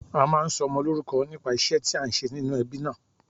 A máa ń sọmọ lórúko nípa ìṣé tí a n ṣe nínú ebí náà